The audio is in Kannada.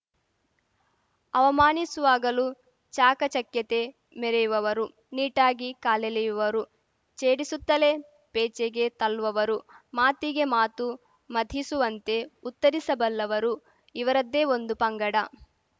ಅವಮಾನಿಸುವಾಗಲೂ ಚಾಕಚಕ್ಯತೆ ಮೆರೆಯುವವರು ನೀಟಾಗಿ ಕಾಲೆಳೆಯುವವರು ಛೇಡಿಸುತ್ತಲೇ ಪೇಚಿಗೆ ತಳ್ಳುವವರು ಮಾತಿಗೆ ಮಾತು ಮಥಿಸುವಂತೆ ಉತ್ತರಿಸಬಲ್ಲವರು ಇವರದ್ದೇ ಒಂದು ಪಂಗಡ